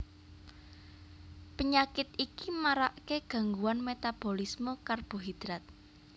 Penyakit iki marake gangguan metabolisme karbohidrat